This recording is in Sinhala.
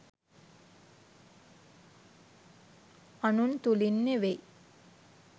අනුන් තුළින් නෙවෙයි.